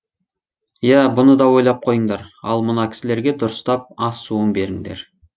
иә бұны да ойлап қойыңдар ал мына кісілерге дұрыстап ас суын беріңдер